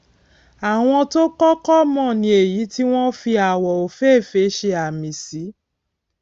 àwọn tó o kókó mò ni èyí tí wón fi àwò òféèfé ṣe àmì sí